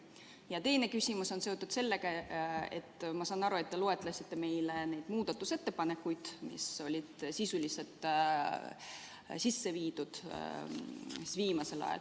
Ja teine küsimus on seotud sellega, et ma saan aru, et te loetlesite meile need muudatusettepanekud, mis on sisuliselt viimasel ajal sisse viidud.